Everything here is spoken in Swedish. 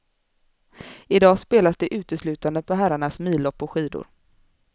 I dag spelas det uteslutande på herrarnas millopp på skidor.